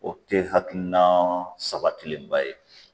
O te hakilina sabatilenba ye